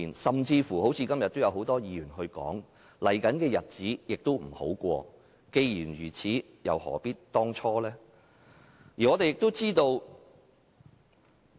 今天很多議員都指出，接下來的日子不會好過，既然如此又何必當初？